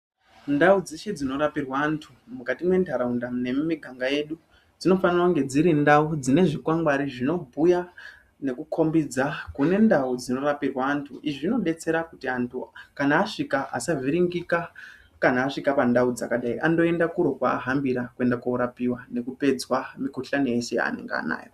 Ndau dzeshe dzinorapirwa antu mukati mwentharaunda nemumiganga yedu. Dzinofanira kunge dziri ndau dzine zvikwangwari zvinobhuya nekukombidza kune ndau dzinorapirwa antu. Izvi zvinodetsera kuti antu kana asvika asavhiringika, kana asvika pandau dzakadai, andoenda kuro kwaahambira kuenda koorapiwa nekupedzwa mukuhlani yese yaanenge anayo.